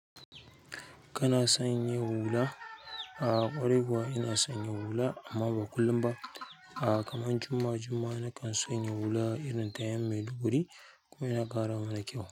Kana sanya hula? A ƙwarai kuwa ina sanya hula, amma ba kullum ba a' kaman juma'a juma'a nakan sanya hula irinta yan' Maiduguri kuma yana ƙara mana kyau.